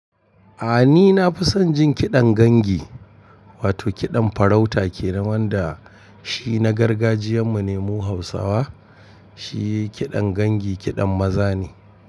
A ni na fi son jin kiɗan gangi, wato kiɗan farauta ke nan wanda shi na gargajiyan mu ne mu hausawa. Shi kiɗan gangi kiɗan maza ne.